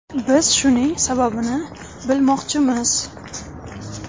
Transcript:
Biz shuning sababini bilmoqchimiz.